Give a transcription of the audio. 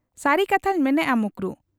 ᱼᱼᱼᱥᱟᱹᱨᱤ ᱠᱟᱛᱷᱟᱧ ᱢᱮᱱᱮᱜ ᱟ ᱭᱟ ᱢᱚᱠᱨᱩ ᱾